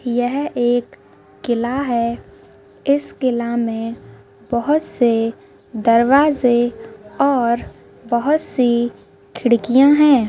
यह एक किला है इस किला में बहुत से दरवाजे और बहुत सी खिड़कियां है।